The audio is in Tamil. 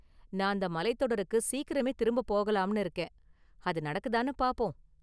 நான் அந்த மலைத் தொடருக்கு சீக்கிரமே திரும்பப் போகலாம்னு இருக்கேன், அது நடக்குதான்னு பாப்போம்.